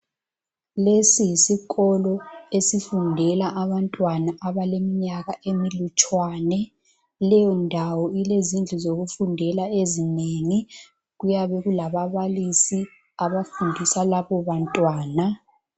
Lesi yisikolo esifundela abantwana abaleminyaka emilutshwane leyondawo ilezindlu zokufundela ezinengi kuyabe kulababalisi abafundisa labo bantwana.